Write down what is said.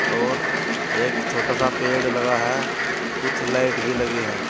और एक छोटा सा पेड़ लगा है कुछ लाइट भी लगी है।